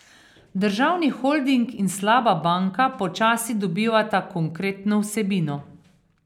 Državni holding in slaba banka počasi dobivata konkretno vsebino.